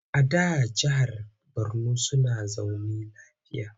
A da jahar Borno suna zaune lafiya.